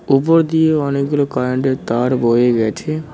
উপর দিয়ে অনেকগুলো কারেন্টের তার বয়ে গেছে।